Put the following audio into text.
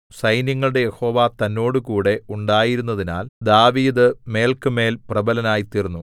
സൈന്യങ്ങളുടെ യഹോവ തന്നോടുകൂടെ ഉണ്ടായിരുന്നതിനാൽ ദാവീദ് മേല്ക്കുമേൽ പ്രബലനായിത്തീർന്നു